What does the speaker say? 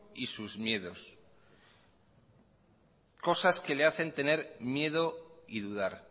y sus miedos cosas que le hacen tener miedo y dudar